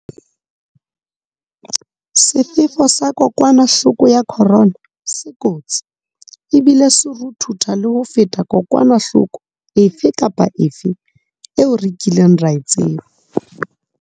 Sefefo sa kokwanahloko ya corona se kotsi ebile se ruthutha le ho feta kokwanahloko efe kapa efe eo re kileng ra e tseba.